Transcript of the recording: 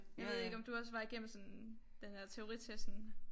Jeg ved ikke om du også var igennem sådan den her teoritesten